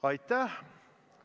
Aitäh!